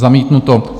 Zamítnuto.